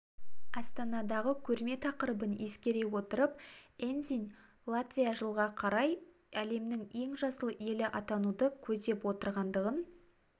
астанадағы көрме тақырыбын ескере отырып эндзиньш латвия жылға қарай әлемнің ең жасыл елі атануды көздеп отырғандығын